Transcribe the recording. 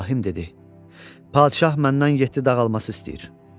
İbrahim dedi: "Padişah məndən yeddi dağ alması istəyir.